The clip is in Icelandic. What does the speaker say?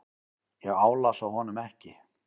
Ég álasa honum ekki.